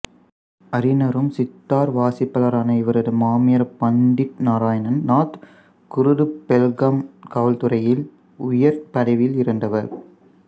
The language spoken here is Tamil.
அறிஞரும் சித்தார் வாசிப்பாளரான இவரது மாமியார் பண்டிட் நாராயண் நாத் குருது பெல்காம் காவல்துறையில் உயர் பதவியில் இருந்தவர்